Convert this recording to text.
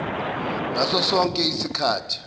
ngaso sonke isikhathi